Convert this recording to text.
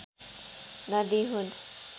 नदी हुन्